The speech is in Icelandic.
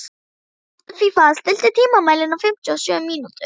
Hrafnfífa, stilltu tímamælinn á fimmtíu og sjö mínútur.